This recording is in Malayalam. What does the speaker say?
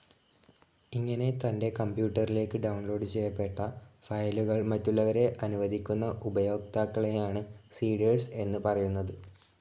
ഇങ്ങനെ തന്റെ കമ്പ്യൂട്ടറിലേക്ക് ഡൌൺലോഡ്‌ ചെയ്യപ്പെട്ട ഫയലുകൾ മറ്റുള്ളവരെ അനുവദിക്കുന്ന ഉപയോക്താക്കളെയാണ് സെഡാർസ്‌ എന്നു പറയുന്നത്.